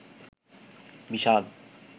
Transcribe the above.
বিষাদ